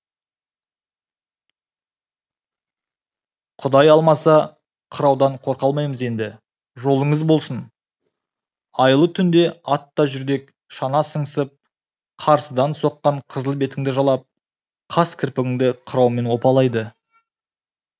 құдай алмаса қыраудан қорқа алмаймыз енді жолыңыз болсын айлы түнде ат та жүрдек шана сыңсып қарсыдан соққан қызыл бетіңді жалап қас кірпігіңді қыраумен опалайды